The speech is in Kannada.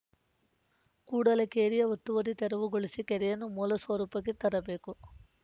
ಕೂಡಲೇ ಕೆರೆಯ ಒತ್ತುವರಿ ತೆರವುಗೊಳಿಸಿ ಕೆರೆಯನ್ನು ಮೂಲಸ್ವರೂಪಕ್ಕೆ ತರಬೇಕು